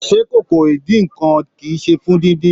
Se ìkòkò idínnkan kí í ṣe fún díndín?